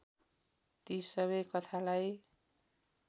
ती सबै कथालाई